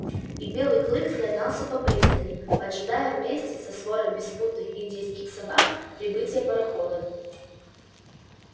и белый клык слонялся по пристани поджидая вместе со сворой беспутных индейских собак прибытия пароходов